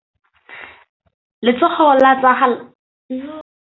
Letsôgô la tsala ya gagwe le kgaogile kwa ntweng ya masole.